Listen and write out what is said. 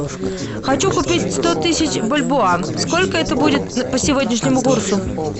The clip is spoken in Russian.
хочу купить сто тысяч бальбоа сколько это будет по сегодняшнему курсу